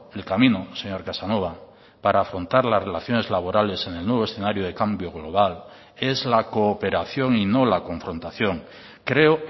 el camino señor casanova para afrontar las relaciones laborales en el nuevo escenario de cambio global es la cooperación y no la confrontación creo